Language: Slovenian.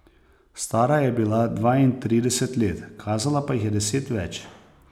Stara je bila dvaintrideset let, kazala pa jih je deset več.